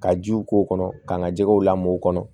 Ka jiw k'o kɔnɔ ka n ka jɛgɛw lamɔw kɔnɔ